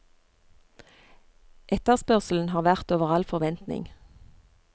Etterspørselen har vært over all forventning.